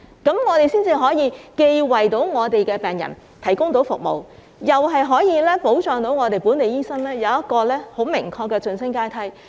這樣做才可以既為病人提供服務，又保障本地醫生有一個很明確的晉升階梯。